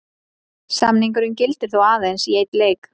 Samningurinn gildir þó aðeins í einn leik.